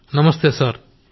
గౌరవ్ నమస్తే సర్